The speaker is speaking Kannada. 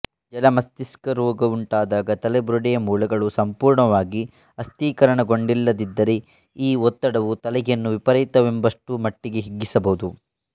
ಜಲಮಸ್ತಿಷ್ಕ ರೋಗವುಂಟಾದಾಗ ತಲೆಬುರುಡೆಯ ಮೂಳೆಗಳು ಸಂಪೂರ್ಣವಾಗಿ ಅಸ್ಥೀಕರಣಗೊಂಡಿಲ್ಲದಿದ್ದರೆ ಈ ಒತ್ತಡವು ತಲೆಯನ್ನು ವಿಪರೀತವೆಂಬಷ್ಟು ಮಟ್ಟಿಗೆ ಹಿಗ್ಗಿಸಬಹುದು